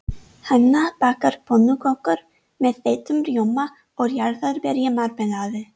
Hanna bakar pönnukökur með þeyttum rjóma og jarðarberjamarmelaði.